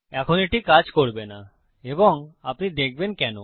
এখন এটি কাজ করবে না এবং আপনি দেখবেন কেন